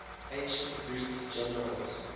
ancient greek generals